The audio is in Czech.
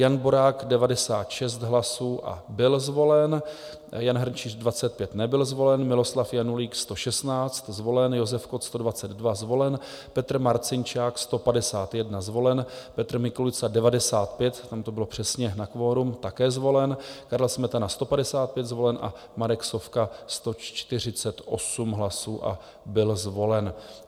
Jan Borák 96 hlasů a byl zvolen, Jan Hrnčíř 25, nebyl zvolen, Miloslav Janulík 116, zvolen, Josef Kott 122, zvolen, Petr Marcinčák 151, zvolen, Petr Mikulica 95, tam to bylo přesně na kvorum, také zvolen, Karel Smetana 155, zvolen, a Marek Sovka 148 hlasů a byl zvolen.